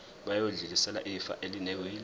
bayodlulisela ifa elinewili